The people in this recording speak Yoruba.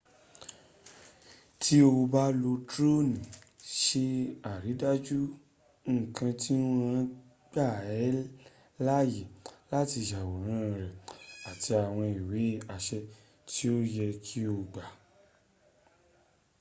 ti o ba n lo drooni ṣaridaju nkan ti wọn gba ẹ laye lati yaworan rẹ ati awọn iwe aṣẹ ti o ye ki o gba